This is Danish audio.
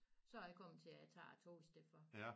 Så er jeg komemt til at tage æ tog i stedet for